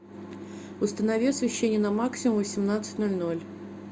установи освещение на максимум в восемнадцать ноль ноль